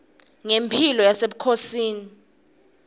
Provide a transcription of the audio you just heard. ngemphilo yasebukhosini